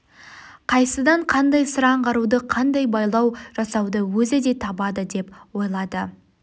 қайсыдан қандай сыр аңғаруды қандай байлау жасауды өзі де табады деп ойлады